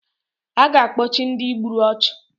A ga-akpochi Ndị gburu ọchụ